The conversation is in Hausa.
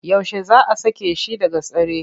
Yaushe za a sake shi daga tsare?